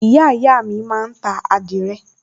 ìyáàyá mi máa ń ta àdìrẹ